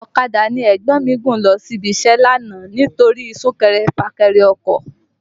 Ọ̀kadà ni ẹ̀gbọ́n mi gùn lọ ibi iṣẹ́ lánàá nítorí sún kẹrẹ fà kẹrẹ ọkọ̀